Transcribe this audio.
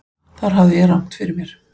Þar hafði ég rangt fyrir mér.